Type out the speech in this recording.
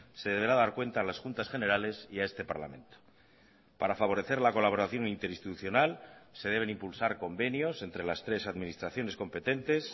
se deberá dar cuenta a las juntas generales y a este parlamento para favorecer la colaboración interinstitucional se deben impulsar convenios entre las tres administraciones competentes